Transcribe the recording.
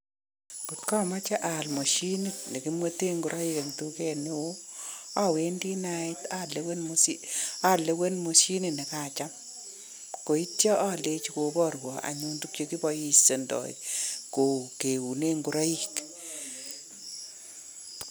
Kot kameche aal mashinit ne kimwete ngoraik eng duket neo awendi ndait lewen mashinit nekacham neityo alechi kobarwa tuk chekipaishoindoi keune ngoraik.